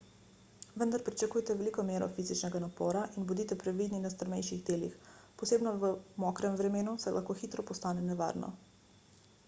vendar pričakujte veliko mero fizičnega napora in bodite previdni na strmejših delih posebno v mokrem vremenu saj lahko hitro postane nevarno